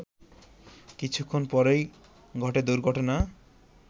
কিছুক্ষণ পরই ঘটে দুর্ঘটনা